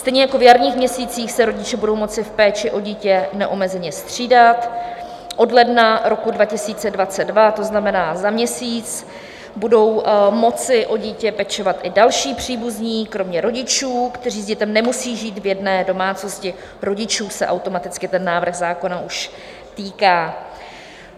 Stejně jako v jarních měsících se rodiče budou moci v péči o dítě neomezeně střídat, od ledna roku 2022, to znamená za měsíc, budou moci o dítě pečovat i další příbuzní kromě rodičů, kteří s dítětem nemusí žít v jedné domácnosti - rodičů se automaticky ten návrh zákona už týká.